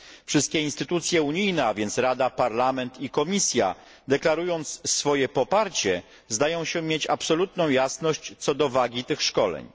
Wszystkie instytucje unijne a więc Rada, Parlament i Komisja deklarując swoje poparcie, zdają się mieć absolutną jasność co do wagi tych szkoleń.